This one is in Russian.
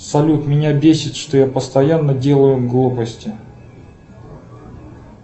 салют меня бесит что я постоянно делаю глупости